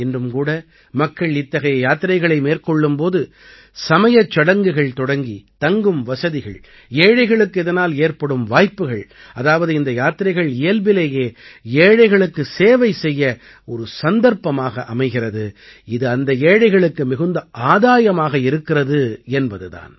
இன்றும் கூட மக்கள் இத்தகைய யாத்திரைகளை மேற்கொள்ளும் போது சமயச் சடங்குகள் தொடங்கி தங்கும் வசதிகள் ஏழைகளுக்கு இதனால் ஏற்படும் வாய்ப்புகள் அதாவது இந்த யாத்திரைகள் இயல்பிலேயே ஏழைகளுக்குச் சேவை செய்ய ஒரு சந்தர்ப்பமாக அமைகிறது இது அந்த ஏழைகளுக்கு மிகுந்த ஆதாயமாக இருக்கிறது என்பது தான்